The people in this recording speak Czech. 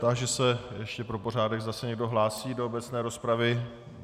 Táži se ještě pro pořádek, zda se někdo hlásí do obecné rozpravy.